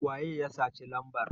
waye ya saci lambar?